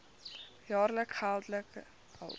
jaar geldelike hulp